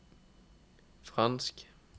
fransk